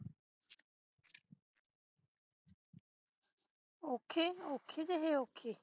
ਔਖੇ ਔਖੇ ਜਹੇ ਔਖੇ